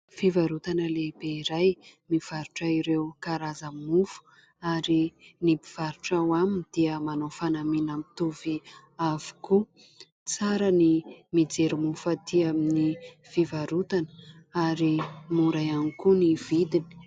Fivarotana lehibe iray mivarotra ireo karazana mofo ary ny mpivarotra ao aminy dia manao fanamiana mitovy avokoa. Tsara ny mijery mofo aty amin'ny fivarotana ary mora ihany koa ny vidiny.